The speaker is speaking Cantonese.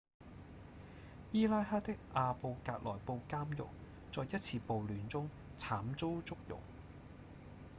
伊拉克的阿布格萊布監獄在一次暴亂中慘遭祝融